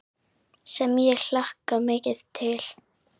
Sem ég hlakka mikið til.